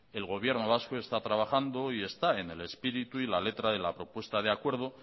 el gobierno vasco está trabajando y está en el espíritu y la letra de la propuesta de acuerdo